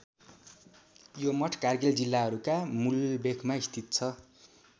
यो मठ कारगिल जिल्लाहरूका मुलबेखमा स्थित छ।